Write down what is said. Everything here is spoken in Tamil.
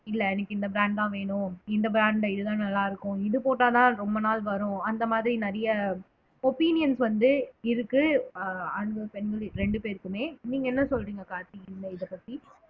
இல்லை எனக்கு இந்த brand தான் வேணும் இந்த brand ல இதுதான் நல்லா இருக்கும் இது போட்டாதான் ரொம்ப நாள் வரும் அந்த மாதிரி நிறைய opinions வந்து இருக்கு அஹ் ஆண்களும் பெண்களும் ரெண்டு பேருக்குமே நீங்க என்ன சொல்றீங்க கார்த்தி இந்த இதைப்பத்தி